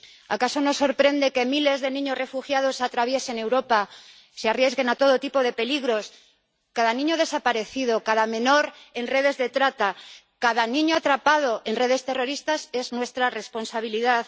¿Acaso no sorprende que miles de niños refugiados atraviesen Europa, se arriesguen a todo tipo de peligros? Cada niño desaparecido, cada menor en redes de trata, cada niño atrapado en redes terroristas es nuestra responsabilidad.